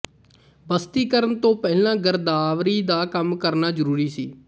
ਬਸਤੀਕਰਨ ਤੋਂ ਪਹਿਲਾਂ ਗਰਦਾਵਰੀ ਦਾ ਕੰਮ ਕਰਨਾ ਜ਼ਰੂਰੀ ਸੀ